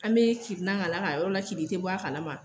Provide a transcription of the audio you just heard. An be kirinan k'a la k'a yɔrɔ lakirin i te bɔ a kalama.